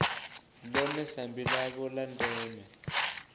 ḽone sambi ḽavho ḽa ndeme